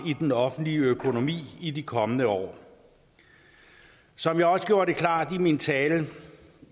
i den offentlige økonomi i de kommende år som jeg også gjorde klart i min tale